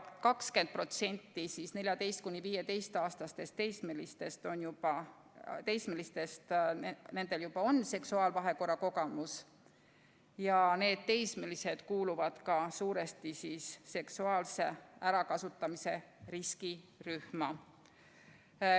20%-l meie 14–15-aastastest teismelistest on juba seksuaalvahekorra kogemus ja need teismelised kuuluvad ka suuresti seksuaalse ärakasutamise riskirühma.